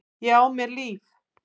Ég á mér líf.